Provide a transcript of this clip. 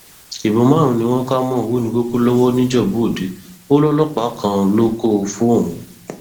ìbọn márùnún ni wọn kà mọ ọwọnìkòkò lowó nìjẹbúọdẹ ò lọlọpàá kan ló kó o fóun